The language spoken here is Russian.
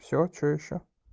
всё что ещё